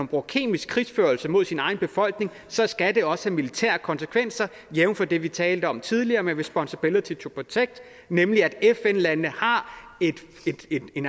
bruger kemisk krigsførelse mod sin egen befolkning så skal det også have militære konsekvenser jævnfør det vi talte om tidligere med responsibility to protect nemlig at fn landene har et